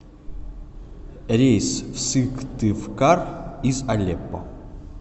рейс в сыктывкар из алеппо